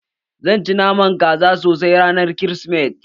Zan ci naman kaza sosai ranar kirismeti